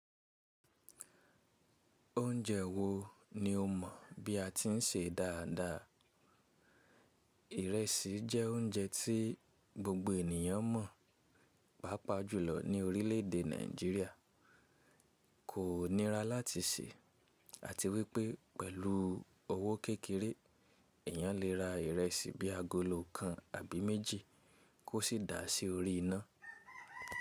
Oúnjẹ wo ni o mọ̀ bí a ti ń sè dáadáa? Ìrẹsì jẹ́ oúnjẹ tí gbogbo ènìyàn mọ̀, pàápàá jùlọ ní orílẹ̀èdè Nàìjíríà. Kò nira láti sè àti wípé pẹ̀lú owó kékeré, èyàn lè ra ìrẹsì bí agolo kan àbí méjì kó sì dà á sí orí iná.